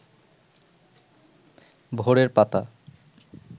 ভোরের পাতা